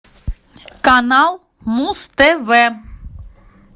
канал муз тв